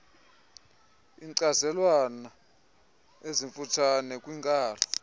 iinkcazelwana ezimfutshane kwiinkalo